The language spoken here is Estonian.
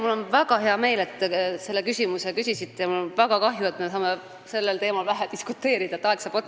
Mul on väga hea meel, et te seda küsisite, ja mul on väga kahju, et me saame sellel teemal vähe diskuteerida, sest aeg saab otsa.